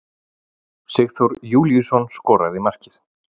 Sigþór Júlíusson skoraði markið.